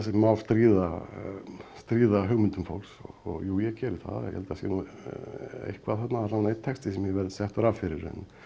má stríða stríða hugmyndum fólks og jú ég geri það ég held það sé nú eitthvað þarna alla vega einn texti sem ég verð settur af fyrir